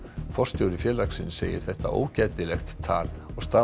forstjóri félagsins segir þetta ógætilegt tal og staða